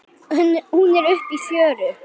Hún er uppi í fjöru.